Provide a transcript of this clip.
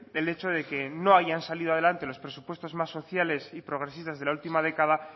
el hecho de que no hayan salido adelante los presupuestos más sociales y progresistas de la última década